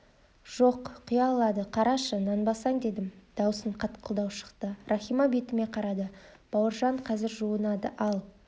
жоқ құя алады қарашы нанбасаң дедім даусым қатқылдау шықты рахима бетіме қарады бауыржан қазір жуынады ал